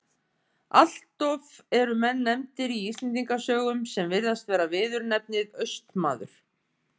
Alloft eru menn nefndir í Íslendingasögum sem virðast bera viðurnefnið Austmaður.